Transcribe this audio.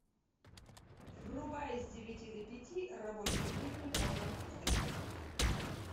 врубай с девяти до пяти рабочие будни порно звезды